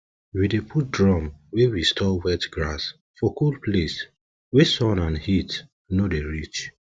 we dey put drum wey we store wet grass for cool place wey sun and heat no dey reach